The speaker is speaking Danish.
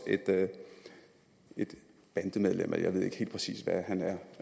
et bandemedlem eller jeg ved ikke helt præcis hvad han er